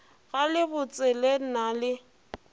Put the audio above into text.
ga le botsele na le